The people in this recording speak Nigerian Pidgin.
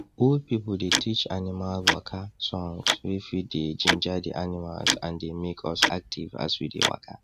old people dey teach animal waka songs wey fit dey ginger the animals and dey make us active as we dey waka